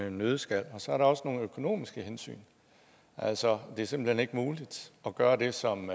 en nøddeskal så er der også nogle økonomiske hensyn altså det er simpelt hen ikke muligt at gøre det som